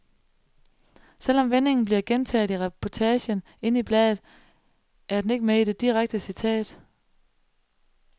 Selv om vendingen bliver gentaget i reportagen inde i bladet, er den ikke med i det direkte citat.